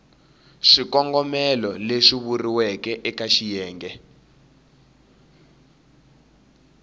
swikongomelo leswi vuriweke eka xiyenge